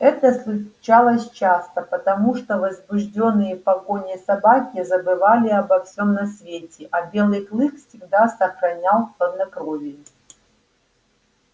это случалось часто потому что возбуждённые погоней собаки забывали обо всем на свете а белый клык всегда сохранял хладнокровие